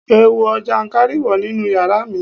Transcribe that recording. Ẹ wo jànkárìwọ̀ nínú yàrá mi.